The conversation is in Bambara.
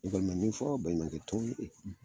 Ne kɔni be min fɔ baɲumankɛ tɔnw ye